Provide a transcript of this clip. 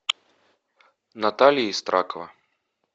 наталья истракова